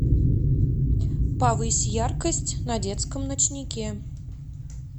повысь яркость на детском ночнике